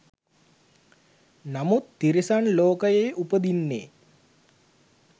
නමුත් තිරිසන් ලෝකයේ උපදින්නේ